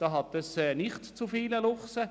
Dort hat es nicht zu viele Luchse.